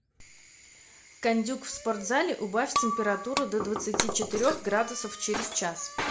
кондюк в спортзале убавь температуру до двадцати четырех градусов через час